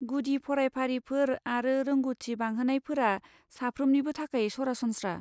गुदि फरायफारिफोर आरो रोंग'थि बांहोनायफोरा साफ्रोमनिबो थाखाय सरासनस्रा।